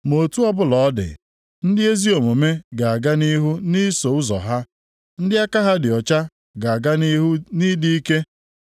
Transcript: Ma otu ọbụla ọ dị, ndị ezi omume ga-aga nʼihu nʼiso ụzọ ha, ndị aka ha dị ọcha ga-aga nʼihu nʼịdị ike.